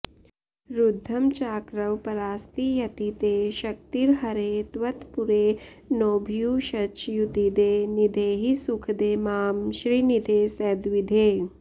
रुद्धं चाकरवं परास्ति यति ते शक्तिर्हरे त्वत्पुरे नोभूयश्च्युतिदे निधेहि सुखदे मां श्रीनिधे सद्विधे